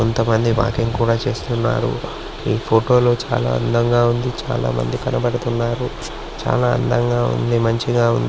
కొంతమంది వాకింగ్ కూడా చేస్తున్నారు. ఈ ఫోటో లో చాలా అందంగా ఉంది. చాలా మంది కనపడుతున్నారు. చాలా అందంగా ఉంది. మంచిగా ఉంది.